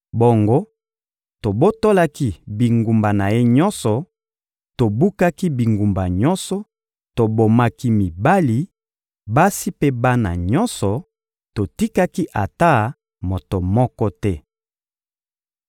Bongo, tobotolaki bingumba na ye nyonso, tobukaki bingumba nyonso, tobomaki mibali, basi mpe bana nyonso; totikaki ata moto moko te.